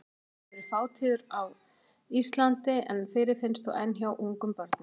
Hann hefur verið fátíður á Íslandi en fyrirfinnst þó enn hjá ungum börnum.